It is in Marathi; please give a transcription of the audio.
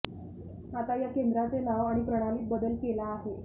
आता या केंद्राचे नाव आणि प्रणालीत बदल केला आहे